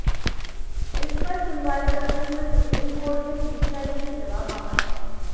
इस पर सुनवाई करते हुए सुप्रीम कोर्ट ने सीबीआई से जवाब मांगा था